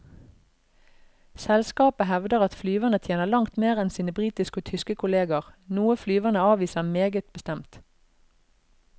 Selskapet hevder at flyverne tjener langt mer enn sine britiske og tyske kolleger, noe flyverne avviser meget bestemt.